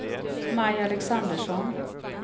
Maj Alexandersson